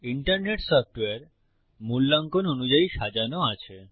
internet software মূল্যাঙ্কন অনুযায়ী সাজানো আছে